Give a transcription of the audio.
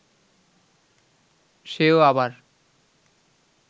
সেও আবার